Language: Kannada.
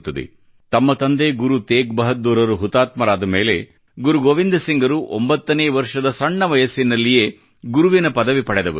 ತಮ್ಮ ತಂದೆ ಗುರು ತೇಜ್ ಬಹದ್ದೂರ್ ರು ಹುತಾತ್ಮರಾದ ಮೇಲೆ ಗುರು ಗೋವಿಂದ ಸಿಂಗ ರು 9 ನೇ ವರ್ಷದ ಸಣ್ಣ ವಯಸ್ಸಿನಲ್ಲಿಯೇ ಗುರುವಿಯ ಪದವಿ ಪಡೆದವರು